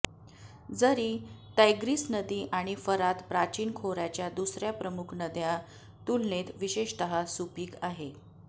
जरी तैग्रिस नदी आणि फरात प्राचीन खोऱ्याच्या दुसऱ्या प्रमुख नद्या तुलनेत विशेषतः सुपीक आहे